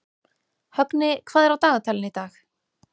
Högni, hvað er á dagatalinu í dag?